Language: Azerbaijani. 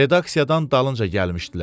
Redaksiyadan dalınca gəlmişdilər.